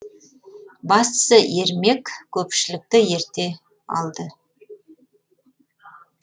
бастысы ермек көпшілікті ерте алды